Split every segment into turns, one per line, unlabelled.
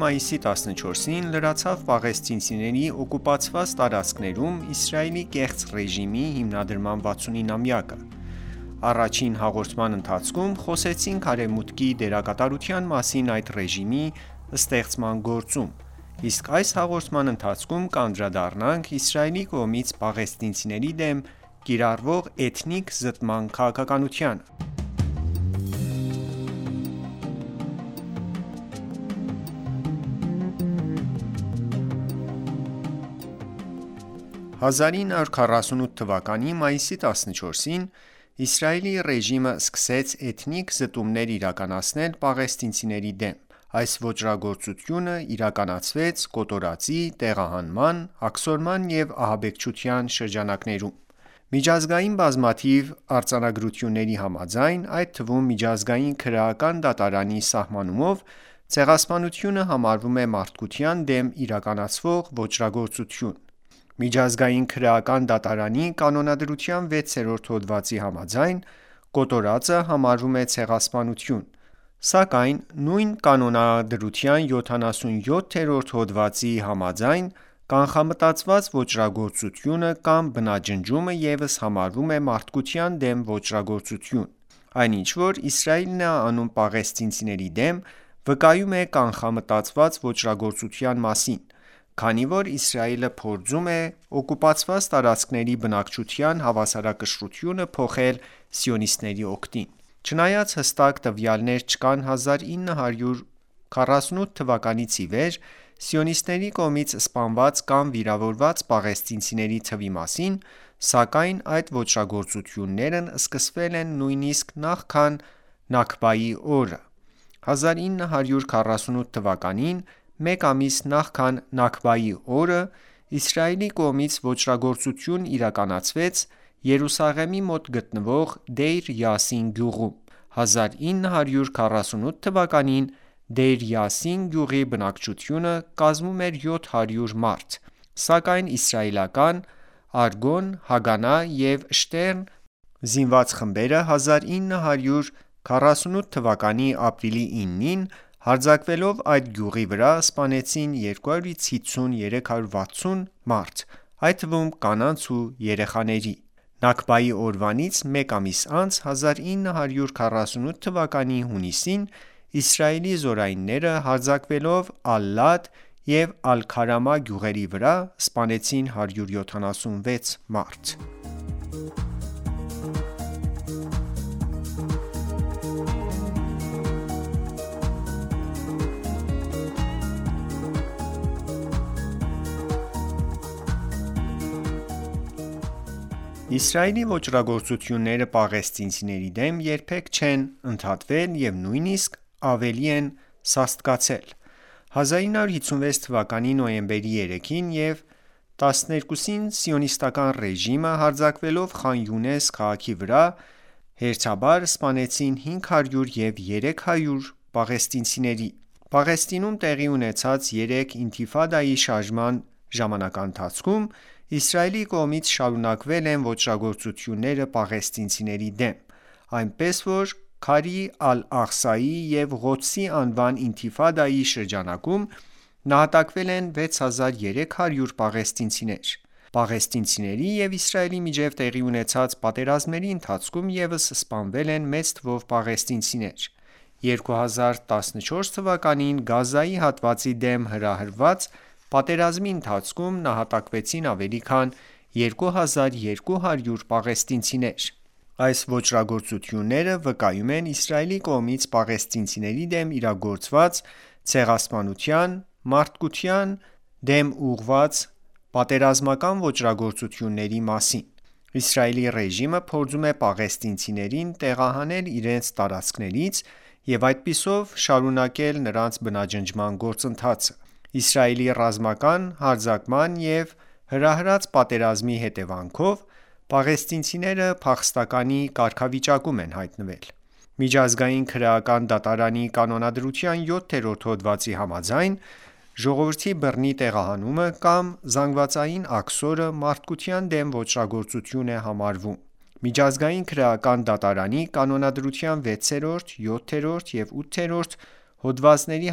մայիսի 14-ին լրացավ պաղեստինցիների օկուպացված տարածքներում Իսրայելի կեղծ ռեժիմի հիմնադրման 69 ամյակը: Առաջին հաղորդման ընթացքում խոսեցինք Արևմուտքի դերակատարության մասին այդ ռեժիմի ստեղծման գործում, իսկ այս հաղորդման ընթացքում կանդրադառնանք Իսրայելի կողմից պաղեստինցիների դեմ կիրառվող էթնիկ զտման քաղաքականությանը: 1948 թ.-ի մայիսի 14-ին Իսրայելի ռեժիմը սկսեց Էթնիկ զտումներ իրականացնել պաղեստինցիների դեմ: Այդ ոճրագործությունը իրականացվեց կոտորածի, տեղահանման, աքսորման և ահաբեկչության շրջանակներում: Միջազգային բկզամաթիվ արձանագրությունների համաձայն այդ թվում միջազգային քրեական դատարանի սահմանումով ցեղասպանությունը համարվում է մարդկության դեմ իրականացվող ոճրագործություն: Միջազգային քրեական դատարանի կանոնադրության 6-րդ հոդվածի համաձայն կոտորածը համարվում է ցեղասպանություն, սակայն նույն կանոնադրության 77-րդ հոդվածի համաձայն կանխամտածված ոճրագործությունը կամ բնաջնջումը ևս համարվում է մարդկության դեմ ոճրագործություն: Այն ինչ որ Իսրայելն է անում պաղեստինցիների դեմ վկայում է կանխամտածված ոճրագործության մասին, քանի որ Իսրայելը փորձում է օկուպացված տարածքների բնակչության հավասարակշռությունը փոխել սիոնիստների օգտին: Չնայած հստակ տվյալներ չկան 1948 թվականից ի վեր Սիոնիստների կողմից սպանված կամ վիրավորված պաղեստինցիների թվի մասին, սակայն այդ ոճրագործություններն սկսվել են նույնիսկ նախքան Նաքբայի օրը: 1948 թվականին մեկ ամիս նախքան Նաքբայի օրը Իսրայելի կողմից ոճրագործություն իրականացվեց Երուսաղեմի մոտ գտնվող Դեյր Յասին գյուղում: 1948 թ.-ին Դեյր Յասին գյուղի բնակչությունը կազմում էր 700 մարդ, սակայն իսրայելական «Արգոն»,«Հագանա» և «Շտերն» զինված խմբերը 1948 թ.-ի ապրիլի 9-ին հարձակվելով այդ գյուղի վրա սպանեցին 250-360 մարդ այդ թվում կանանց ու երեխաների: Նաքբայի օրվանից մեկ ամիս անց 1948 թ.-ի հունիսին Իսրայելի զորայինները հարձակվելով Ալ-Լադ և Ալ-Քարամա գյուղերի վրա սպանեցին 176 մարդ: Իսրայելի ոճրագործությունները պաղեստինցիների դեմ երբեք չեն ընդհատվել և նույնիսկ ավելի են սաստկացել: 1956 թ.-ի նոյեմբերի 3-ին և 12-ին սիոնիստական ուժերը հարձակվելով Խան Յունես քաղաքի վրա հերթաբար սպանեցին 500 և 300 պաղեստինցիների: Պաղեստինում տեղի ունեցած երեք Ինթիֆադայի շարժման ժամանակաընթացքում Իսրայելի կողմից շարունակվել են ոճրագործությունները պաղեստինցիների դեմ: Այնպես որ «Քարի», «Ալ-Աղսա»-ի և «Ղոդս»-ի անվան ինթիֆադայի շրջանակում նահատակվել են 6300 պաղեստինցիներ: Պաղեստինցիների և Իսրայելի միջև տեղի ունեցած պատերազմների ընթացքում ևս սպանվել են մեծ թվով պաղեստինցիներ: 2014 թ.-ին Գազայի հատվածի դեմ հրահրված պատերազմի ընթացքում նահատակվեցին ավելի քան 2200 պաղեստինցիներ: Այս ոճրագործությունները վկայում են Իսրայելի կողմից պաղեստինցիների դեմ իրագործված ցեղասպանության, մարդկության դեմ ուղղված հանցագործության և պատերազմական ոճրագործությունների մասին: Իսրայելի ռեժիմը փորձում է պաղեստինցիներին տեղահանել իրենց տարածքներից և այդպիսով շարունակել նրանց բնաջնջման գործընթացը: Իսրայելի ռազմական հարձակման և հրահրած պատերազմների հետևանքով պաղեստինցիները հայտնվել են փախստականի կարգավիճակում: Միջազգային քրեական դատարանի կանոնադրության 7-րդ հոդվածի համաձայն ժողովրդի բռնի տեղահանումը կամ զանգվածային աքսորը մարդկության դեմ ոճրագործություն է համարվում: Միջազգային քրեական դատարանի կանոնադրության 6-րդ, 7-րդ և 8-րդ հոդվածների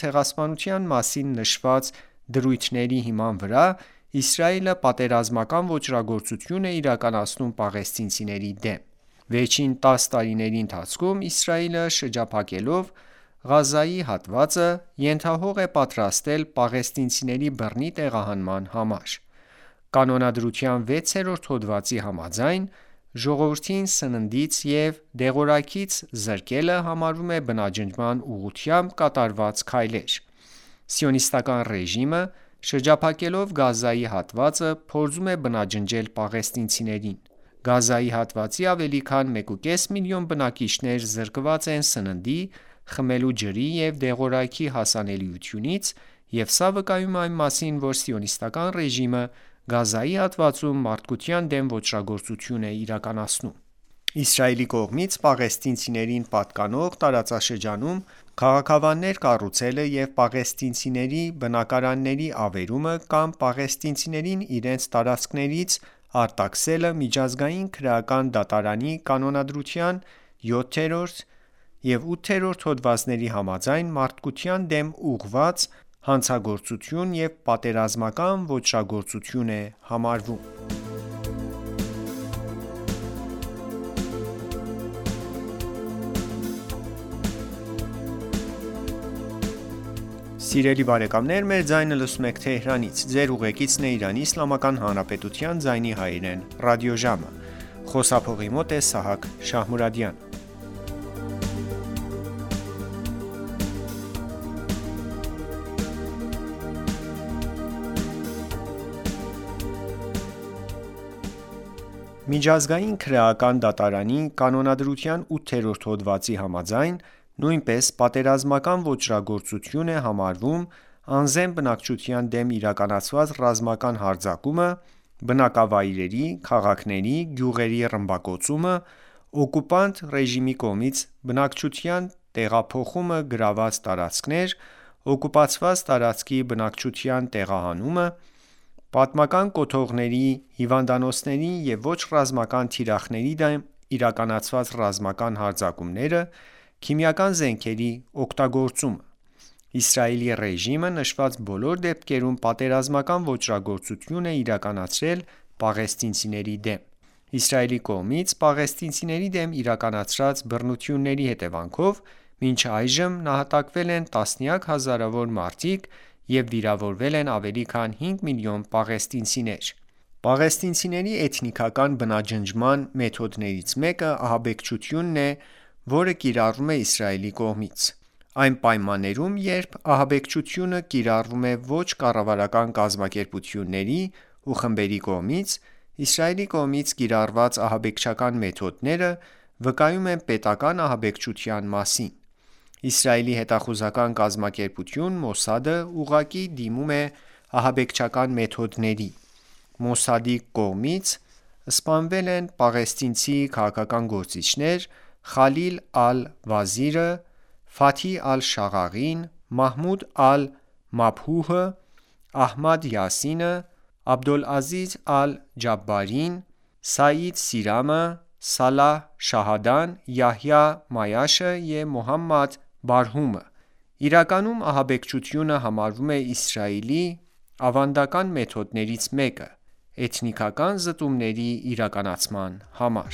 ցեղասպանության մասին նշված դրույթների համաձայն Իսրայելը պատերազմական ոճրագործություն է իրականացնում պաղեստինցիների դեմ: Վերջին 10 տարիների ընթացքում Իսրայելը շրջապատելով Գազայի հատվածը ենթահող է պատրաստել պաղեստինցիների բռնի տեղահանման համար: Կանոնադրության 6-րդ հոդվածի համաձայն՝ ժողովրդին սնունդից և դեղորայքից զրկելը համարվում է բնաջնջման ուղղությամբ կատարված քայլ: Սիոնիստական ռեժիմը շրջապատելով Գազայի հատվածը փորձում է բնաջնջել պաղեստինցիներին: Գազայի հատվածի ավելի քան 1/5 միլիոն բնակիչներ զրկված են սննդի, խմելու ջրի և դեղորայքի հասանելիությունից և սա վկայում է այն մասին որ Սիոնիստական ռեժիմը Գազայի հատվածում մարդկության դեմ ոճրագործություն է իրականացնում: Իսրայելի կողմից պաղեստինցիներին պատկանող տարածքներում քաղաքավաններ կառուցելը և պաղեստինցիների բնակարանների ավերումը կամ պաղեստինցիներին իրենց տարածքներից արտաքսելը Միջազգային քրեական դատարանի կանոնադրության 7-րդ և 8-րդ հոդվածների համաձայն մարդկության դեմ ուղղված հանցագործություն և պատերազմական ոճրագործություն է համարվում: Կանոնադրության 8-րդ հողվածի համաձայն նույնպես պատերազմական ոճրագործություն է համարվում, անզեն բնակչության դեմ իրականացված ռազմական հարձակումը, բնակավայրերի, քաղաքների, գյուղերի ռմբակոծումը, օգուպանտ կողմի բնակչության տեղափոխումը գրաված տարածքներ, օկուպացված տարածքի բնակչության տեղահանումը, պատմական կոթողների հիվանդանոցների և ոչ ռազմական թիրախների դեմ իրականացված ռազմական հարձակումները, քիմիական զենքերի օգտագործումը: Իսրայելի ռեժիմը նշված բոլոր դեպքերում պատերազմական ոճրագործություն է իրականացրել պաղեստինցիների դեմ: Իսրայելի կողմից պաղեստինցիների դեմ իրականացրած բռնությունների հետևանքով մինչ այժմ նահատակվել են տասնյակ հազարավոր մարդիկ և վիրավորվել են ավելի քան 5 միլիոն պաղեստինցիներ: Պաղեստինցիների էթնիկական բնաջնջման մեթոդներից մեկը ահաբեկչությունն է որը կիրառվում է Իսրայելի կողմից: Այն պայմաններում երբ ահաբեկչությունը կիրառվում է ոչ կառավարական կազմակերպությունների ու խմբերի կողմից, Իսրայելի կողմից կիրառված ահաբեկչական մեթոդները վկայում են պետական ահաբեկչության մասին: Իսրայելի հետախուզական կազմակերպություն Մոսադը ուղղակի դիմում է ահաբեկչական մեթոդների: Մոսադի կողմից սպամվել են պաղեստինցի քաղաքական գործիչներ՝ Խալիլ Ալ-Վազիրը, Ֆաթհի Ալ-Շաղաղին. Մահմուդ Ալ-Մաբհուհը, Ահմեդ Յասինը, Աբդոլազիզ Ալ-Ջաաբարին, Սաիդ Սիյամը, Սալահ Շահադան, Յահյա Այաշը և Մոհամեդ Բարհումը: Իրականում ահաբեկչությունը և գրոհը համարվում են Իսրայելի ավանդական մեթոդներից՝ էթնիկական զտումների իրականացման համար: